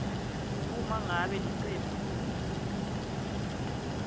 uma ngabe licembu